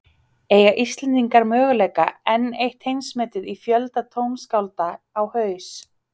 Eiga Íslendingar mögulega enn eitt heimsmetið í fjölda tónskálda á haus?